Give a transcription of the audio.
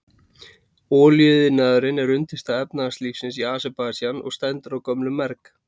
Olíuiðnaður er undirstaða efnahagslífsins í Aserbaídsjan og stendur á gömlum merg.